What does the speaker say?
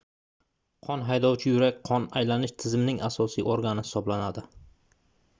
qon haydovchi yurak qon aylanish tizimining asosiy organi hisoblanadi